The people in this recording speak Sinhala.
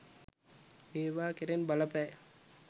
මේවා කෙරෙන් බල පෑ